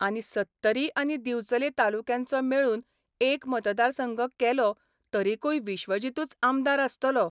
आनी सत्तरी आनी दिवचले तालुक्यांचो मेळून एक मतदारसंघ केलो तरिकूय विश्वजीतूच आमदार आसतलो.